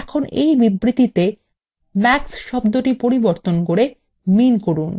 এখন এই বিবৃতিতে max কে শব্দটি প্রতিস্থাপন করে min করুন